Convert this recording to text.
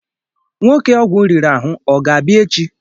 Nwoke ọgwụ riri ahụ ọ ga-abịa echị?